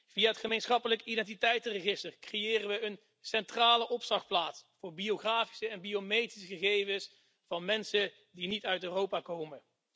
Via het gemeenschappelijke identiteitsregister creëren we een centrale opslagplaats voor biografische en biometrische gegevens van mensen die niet uit Europa komen.